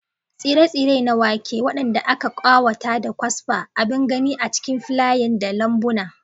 Tsire-tsire na wake, waɗanda aka ƙawata da kwasfa, abin gani a cikin filayen da lambuna.